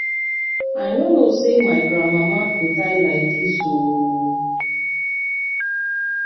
i no know say my grand mama go die like dis ooo.